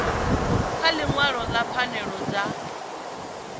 kha ḽiṅwalo ḽa pfanelo dza